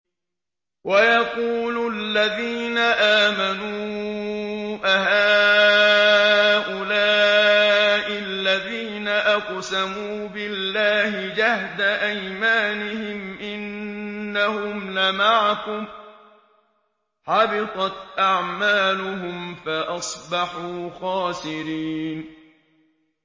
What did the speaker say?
وَيَقُولُ الَّذِينَ آمَنُوا أَهَٰؤُلَاءِ الَّذِينَ أَقْسَمُوا بِاللَّهِ جَهْدَ أَيْمَانِهِمْ ۙ إِنَّهُمْ لَمَعَكُمْ ۚ حَبِطَتْ أَعْمَالُهُمْ فَأَصْبَحُوا خَاسِرِينَ